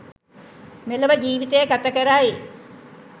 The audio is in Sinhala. මෙලොව ජීවිතය ගත කරයි.